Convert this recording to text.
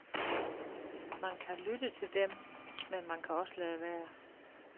Man kan lytte til dem, men man kan også lade være.